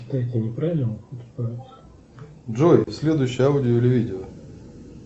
джой следующее аудио или видео